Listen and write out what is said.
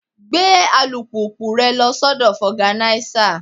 Gbé alùpùpù rẹ lọ sọ́dọ̀ foganisa.